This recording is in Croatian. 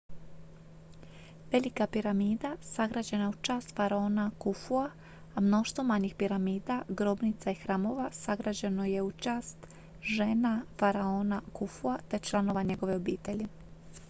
velika piramida sagrađena je u čast faraona kufua a mnoštvo manjih piramida grobnica i hramova sagrađeno je u čast žena faraona kufua te članova njegove obitelji